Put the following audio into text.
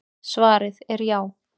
Svarið er já.